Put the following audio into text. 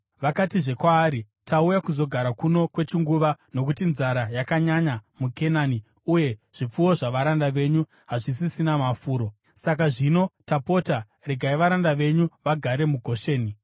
Vakatizve kwaari, “Tauya kuzogara kuno kwechinguva, nokuti nzara yakanyanya muKenani uye zvipfuwo zvavaranda venyu hazvisisina mafuro. Saka zvino, tapota regai varanda venyu vagare muGosheni.”